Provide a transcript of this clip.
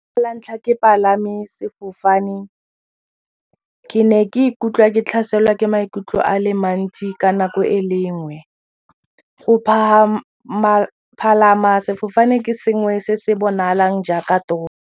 La ntlha ke palame sefofane ke ne ka ikutlwa ke tlhaselwa ke maikutlo a le mantsi ka nako e le nngwe , go palama sefofane ke sengwe se se bonalang jaaka toro.